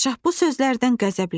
Padşah bu sözlərdən qəzəbləndi.